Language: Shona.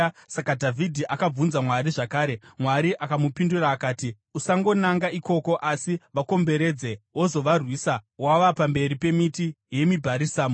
Saka Dhavhidhi akabvunza Mwari zvakare, Mwari akamupindura akati, “Usangonanga ikoko asi vakomberedze wozovarwisa wava pamberi pemiti yemibharisamu.